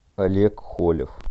олег холев